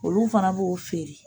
Olu fana b'o feere..